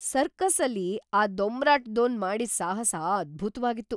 ಸರ್ಕಸ್ಸಲ್ಲಿ ಆ ದೊಂಬರಾಟದೋನ್‌ ಮಾಡಿದ್‌ ಸಾಹಸ ಅದ್ಭುತ್ವಾಗಿತ್ತು!